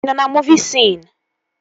Ị nọ na muuvi sion?